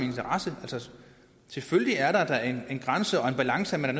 selvfølgelig er der da en grænse og en balance som man